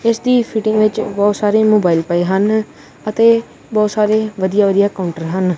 ਇੱਸਦੀ fitting ਵਿੱਚ ਬੋਹੁਤ ਸਾਰੇ ਮੋਬਾਈਲ ਪਏ ਹਨ ਅਤੇ ਬੋਹੁਤ ਸਾਰੇ ਵਧੀਆ ਵਧੀਆ ਕਾਉੰਟਰ ਹਨ।